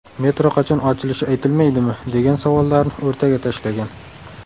Metro qachon ochilishi aytilmaydimi?”, degan savollarni o‘rtaga tashlagan .